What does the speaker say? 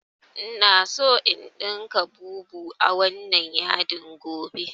Ina so in ɗinka bubu a wannan yadin gobe